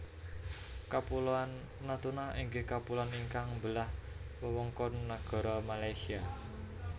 Kapuloan Natuna inggih kapuloan ingkang mbelah wewengkon nagara Malaysia